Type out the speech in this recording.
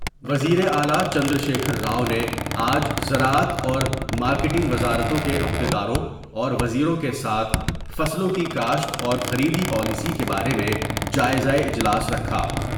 وزیراعلی چندرشیکھر راؤ نے آج زراعت اور مارکیٹنگ وزارتوں کے عہدیداروں اور وزیروں کے ساتھ فصلوں کی کاشت اور خریدی پالیسی کے بارے میں جائز واجلاس رکھا ۔